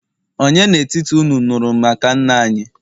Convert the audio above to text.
ònye n'etiti unu nuru maka nna-anyi?